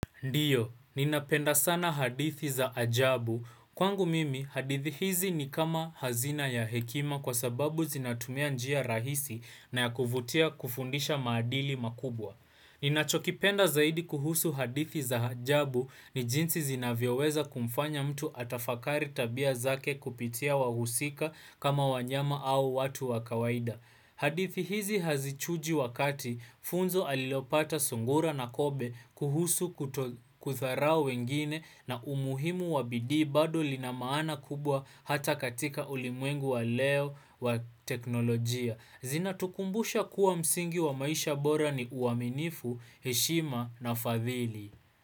Ndiyo, ninapenda sana hadithi za ajabu. Kwangu mimi, hadithi hizi ni kama hazina ya hekima kwa sababu zinatumia njia rahisi na ya kuvutia kufundisha maadili makubwa. Ninachokipenda zaidi kuhusu hadithi za ajabu ni jinsi zinavyoweza kumfanya mtu atafakari tabia zake kupitia wahusika kama wanyama au watu wa kawaida. Hadithi hizi hazichuji wakati funzo alilopata sungura na kobe kuhusu kudharao wengine na umuhimu wa bidii bado linamaana kubwa hata katika ulimwengu wa leo wa teknolojia. Zinatukumbusha kuwa msingi wa maisha bora ni uaminifu, heshima na fadhili.